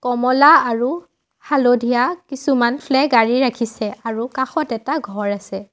কমলা আৰু হালধীয়া কিছুমান ফ্লেগ আঁৰি ৰাখিছে আৰু কাষত এটা ঘৰ আছে।